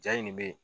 Ja in de bɛ yen